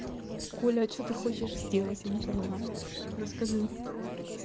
коля а что ты хочешь сделать я не понимаю расскажи